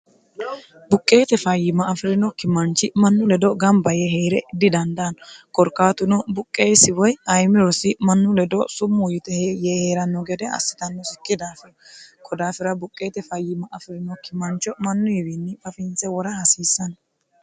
buqqeete fayyima afirinokki manchi mannu ledo gamba ye heere didandaanno korkaatuno buqqeessi woy ayimirosi mannu ledo summuu yite yee heeranno gede assitannosikki daafino kodaafira buqqeete fayyima afi'rinokki mancho mannuyiwiinni fafinse wora hasiissanno